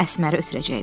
Əsməri ötürəcəkdim.